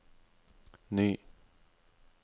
ny